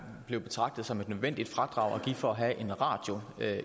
blev betragtet som et nødvendigt fradrag for at have radio